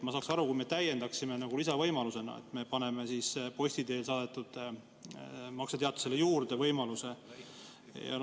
Ma saaks aru, kui me täiendaksime nagu lisavõimalusena, et me paneme posti teel saadetud makseteatisele teise võimaluse juurde.